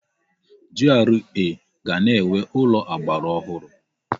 GRA ga na-enwe ụlọ ọgbaraọhụrụ.